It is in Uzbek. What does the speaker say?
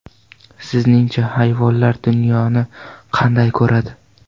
Sizningcha hayvonlar dunyoni qanday ko‘radi?